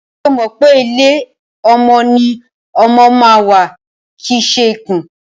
Ṣo mọ̀ pé ilé ọmọ ni ọmọ ma ń wà kìí ṣe ikùn?